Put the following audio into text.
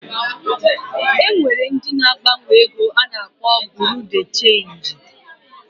E nwere ndị na-agbanwe ego a na-akpọ Buru Di Chenji